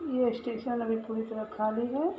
ये स्टेशन अभी पूरी तरह खाली है।